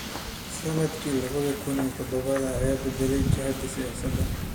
Sannadkii laba kun iyo toddoba ayaa beddelay jihadii siyaasadda